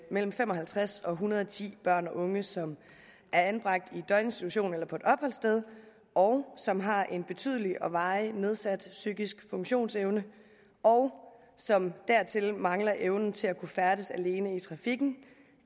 mellem fem og halvtreds og en hundrede og ti børn og unge som er anbragt i døgninstitution eller på opholdssted og som har en betydelig og varig nedsat psykisk funktionsevne og som dertil mangler evnen til at kunne færdes alene i trafikken